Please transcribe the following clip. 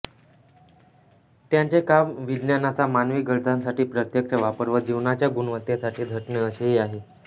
त्यांचे काम विज्ञानाचा मानवी गरजांसाठी प्रत्यक्ष वापर व जीवनाच्या गुणवत्तेसाठी झटणे असेही आहे